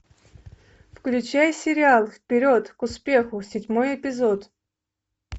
включай сериал вперед к успеху седьмой эпизод